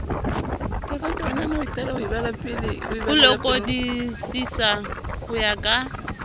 ho lekodisisa ho ya ka